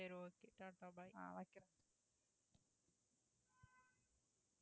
சரி okay ta-ta bye